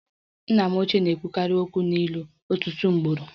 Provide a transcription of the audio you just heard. Nna m ochie na-ekwu okwu n'ilu ọtụtụ ugboro